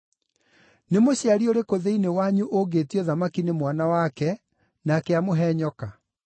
“Nĩ mũciari ũrĩkũ thĩinĩ wanyu ũngĩĩtio thamaki nĩ mwana wake, nake amũhe nyoka?